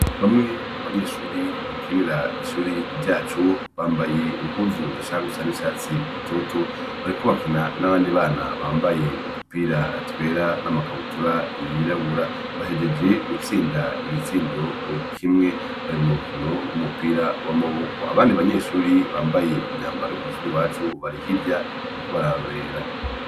Bamwe mu banyeshure bakinira ishuri ryacu, bambaye impuzu zishaka gusa n'icatsi gitoto, bariko bakina n'abandi bana bambaye udupira twera n'amakabutura yirabura. Bahejeje gutsinda igitsindo kimwe, bari mu rukino rw'umupira w'amaboko. Abandi banyeshure bambaye imyambaro yo kw'ishuri iwacu bari hirya bariko bararorera.